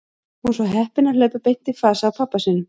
Hún var svo heppin að hlaupa beint í flasið á pabba sínum.